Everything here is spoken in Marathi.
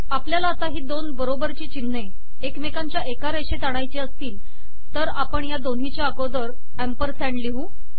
आपल्याला ही दोन बरोबरची चिन्हे एकमेकांच्या एका रेषेत आणायची असतील तर आपण या दोन्हीच्या अगोदर अॅम्परसँड लिहू